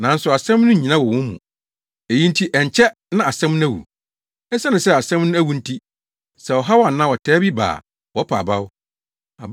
Nanso asɛm no nnyina wɔ wɔn mu. Eyi nti ɛnkyɛ na asɛm no awu. Esiane sɛ asɛm no awu nti, sɛ ɔhaw anaa ɔtaa bi ba a, wɔpa abaw.